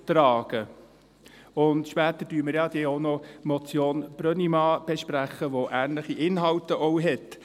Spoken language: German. Später besprechen wir dann ja auch noch die Motion Brönnimann die ähnliche Inhalte hat.